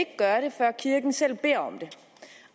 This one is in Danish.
gøre det før kirken selv beder om det